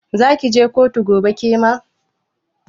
Zaki je kotu gobe kema?